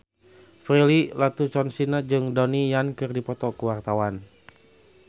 Prilly Latuconsina jeung Donnie Yan keur dipoto ku wartawan